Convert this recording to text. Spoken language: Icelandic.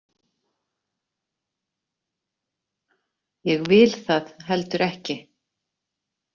Ég vil það heldur ekki.